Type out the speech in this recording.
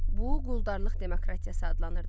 Bu quldarlıq demokratiyası adlanırdı.